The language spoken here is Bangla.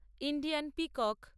Indian peacock